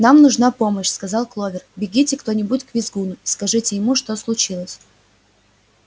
нам нужна помощь сказала кловер бегите кто-нибудь к визгуну и скажите ему что случилось